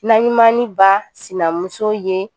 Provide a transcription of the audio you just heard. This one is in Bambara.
Naɲumannin ba sinamuso ye